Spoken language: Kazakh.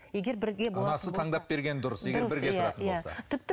анасы таңдап берген дұрыс егер бірге тұратын болса